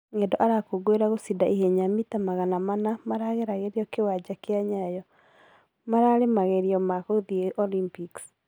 Ng'endo ara kũngũĩra gũchinda ihenya mita magana mana magera gererio kiwanja kĩa nyayo , mararĩ magerio ma gũthie olympics